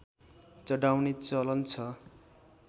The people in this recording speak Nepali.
चढाउने चलन छ